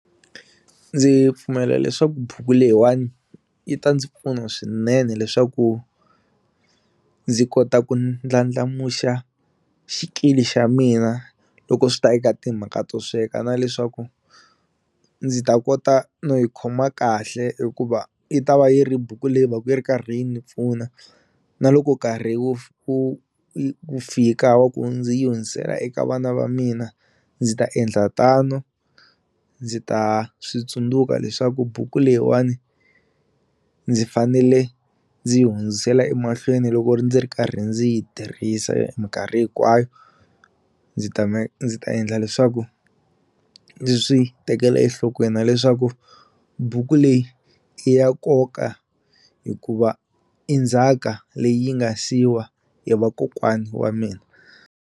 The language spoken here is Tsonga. Ndzi pfumela leswaku buku leyiwani yi ta ndzi pfuna swinene leswaku ndzi kota ku ndlandlamuxa xikili xa mina loko swi ta eka timhaka to sweka na leswaku ndzi ta kota no yi khoma kahle hikuva yi ta va yi ri buku leyi va ku yi ri karhi yini ni pfuna na loko nkarhi wu wu fika wa ku ndzi yi hundzisela eka vana va mina ndzi ta endla tano ndzi ta switsundzuka leswaku buku leyiwani ndzi fanele ndzi yi hundzisela emahlweni loko ndzi ri karhi ndzi yi tirhisa minkarhi hinkwayo ndzi ta ndzi ta endla leswaku ndzi swi tekela enhlokweni na leswaku buku leyi i ya nkoka hikuva i ndzhaka leyi yi nga siyiwa hi vakokwani wa mina.